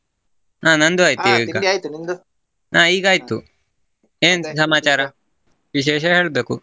ಹಾ ನಂದು ಹಾ ಈಗ ವಿಶೇಷಾ ಹೇಳ್ಬೇಕು.